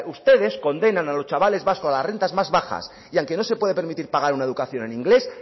ustedes condenan a los chavales vascos a las rentas más bajas y al que no se puede permitir pagar una educación en inglés